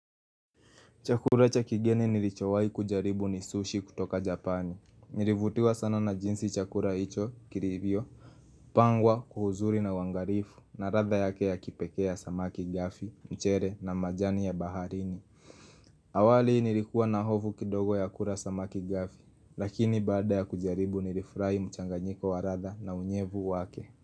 Chakula cha kigeni nilichowai kujaribu ni sushi kutoka japani. Nilivutiwa sana na jinsi chakula icho, kilivyo. Pangwa kwa uzuri na uangarifu, na ladha yake ya kipekee samaki gafi, mchele na majani ya baharini. Awali nilikuwa na hofu kidogo ya kula samaki gafi, lakini baada ya kujaribu nilifurahi mchanganyiko wa ladha na unyevu wake.